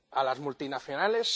¿A las multinacionales?